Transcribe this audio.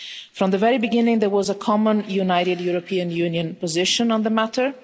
From the very beginning there was a common united European Union position on the matter.